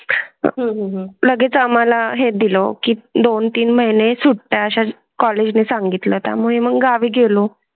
हम्म लगेच आम्हाला हे दिलों की दोन तीन महिने सुट्टया कॉलेज ने सांगितलं. त्यामुळे मग गावी गेलो.